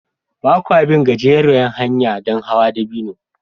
Ba kwa bin gajeriyar hanya don hawan dabino